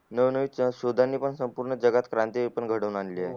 नव नवीन शोधा ने पण संपूर्ण जगात क्रांती घडून आणली